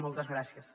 moltes gràcies